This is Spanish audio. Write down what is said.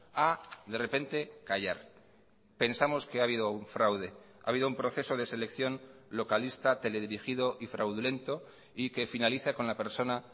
a de repente callar pensamos que ha habido un fraude ha habido un proceso de selección localista teledirigido y fraudulento y que finaliza con la persona